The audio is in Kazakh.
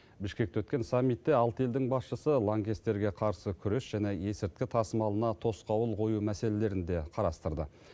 бішкекте өткен саммитте алты елдің басшысы лаңкестерге қарсы күрес және есірткі тасымалына тосқауыл қою мәселелерін де қарастырды